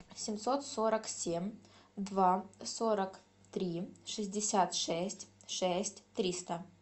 семьсот сорок семь два сорок три шестьдесят шесть шесть триста